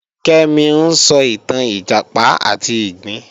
Kẹ́mi ń sọ ìtàn Ìjàpá àti ìgbín